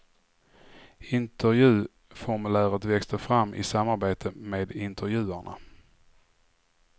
Intervjuformuläret växte fram i samarbete med intervjuarna.